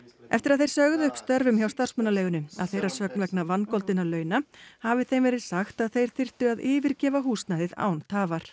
eftir að þeir sögðu upp störfum hjá starfsmannaleigunni að þeirra sögn vegna vangoldinna launa hafi þeim verið sagt að þeir þyrftu að yfirgefa húsnæðið án tafar